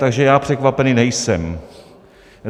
Takže já překvapený nejsem.